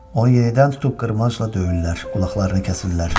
Onu yenidən tutub qırmancla döyürlər, qulaqlarını kəsirlər.